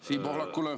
Siim Pohlakule.